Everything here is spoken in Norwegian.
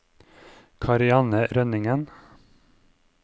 Karianne Rønningen